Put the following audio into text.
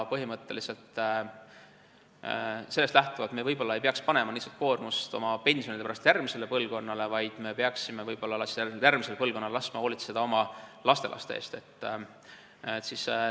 Sellest lähtuvalt me võib-olla ei peaks panema oma pensionikoormust järgmisele põlvkonnale, vaid võib-olla peaksime järgmisel põlvkonnal laskma hoolitseda meie lastelaste eest.